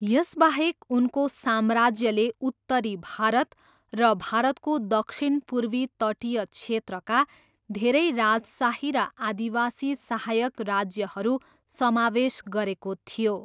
यसबाहेक उनको साम्राज्यले उत्तरी भारत र भारतको दक्षिणपूर्वी तटीय क्षेत्रका धेरै राजशाही र आदिवासी सहायक राज्यहरू समावेश गरेको थियो।